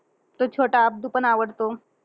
तो छोटा अब्दू पण आवडतो.